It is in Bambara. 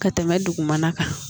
Ka tɛmɛ dugumana kan